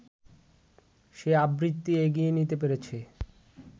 সে আবৃত্তি এগিয়ে নিতে পেরেছে